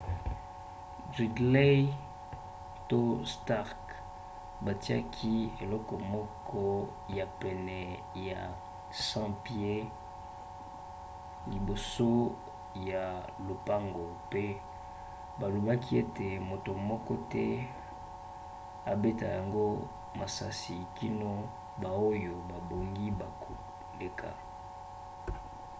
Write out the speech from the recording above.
gridley to stark batiaki eloko moko ya pene na 100 pieds 30 m liboso ya lopango pe balobaki ete moto moko te abeta yango masasi kino baoyo babongi bakoleka